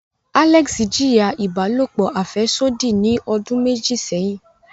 Alex jiya ibalopo afẹsodi ni odun meji seyin.